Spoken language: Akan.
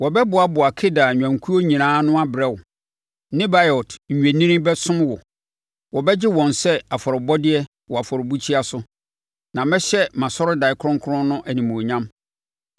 Wɔbɛboaboa Kedar nnwankuo nyinaa ano abrɛ wo, Nebaiot nnwennini bɛsom wo; wɔbɛgye wɔn sɛ afɔrebɔdeɛ wɔ mʼafɔrebukyia so, na mɛhyɛ mʼasɔredan kronkron no animuonyam.